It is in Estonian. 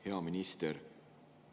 Hea minister!